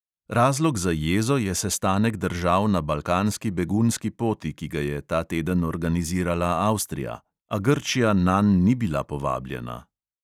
Razlog za jezo je sestanek držav na balkanski begunski poti, ki ga je ta teden organizirala avstrija, a grčija nanj ni bila povabljena.